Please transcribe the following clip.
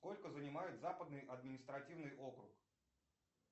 сколько занимает западный административный округ